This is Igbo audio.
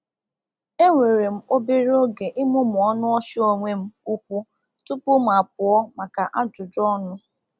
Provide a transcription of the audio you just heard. E were m obere oge ịmụmụ ọnụ ọchị onwe m úkwù tupu m apụọ maka ajụjụ ọnụ.